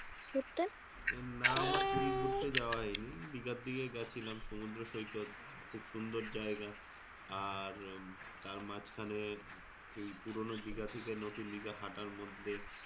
না আমার পুরি ঘুরতে যাওয়া হয়নি। দিঘার দিকে গেছিলাম সমুদ্র সৈকত, খুব সুন্দর জায়গা। আর তার মাঝখানে এই পুরানো দিঘা থেকে নতুন দিঘা হাটার মধ্যে,